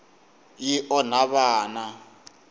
yi onha vana